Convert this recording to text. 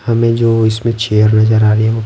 हमें जो इसमें चेयर नजर आ रही है वो--